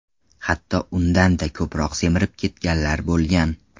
Hatto undan-da ko‘proq semirib ketganlar bo‘lgan.